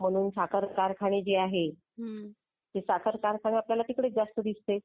म्हणून साखर कारखाने जे आहे. ते साखर कारखाने आपल्याला जास्त तिकडेच दिसते.